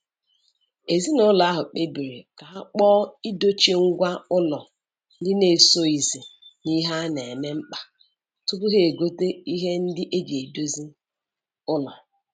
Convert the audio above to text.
Ezinụlọ ahụ kpebiri ka ha kpọọ idochi ngwa ụlọ ndị esoghizi n'ihe a na-eme mkpa tupu ha egote ihe ndị eji edozi ụlọ.